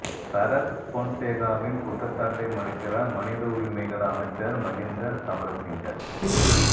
சரத் பொன்சேகாவின் குற்றச்சாட்டை மறுக்கிறார் மனித உரிமைகள் அமைச்சர் மஹிந்த சமரசிங்க